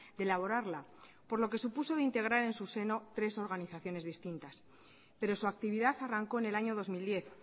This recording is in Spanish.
de elaborarla por lo que supuso integrar en su seno tres organizaciones distintas pero su actividad arrancó en el año dos mil diez